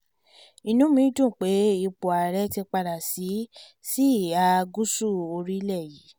inú mi dùn pé ipò ààrẹ ti padà sí sí ìhà gúúsù orílẹ̀ yìí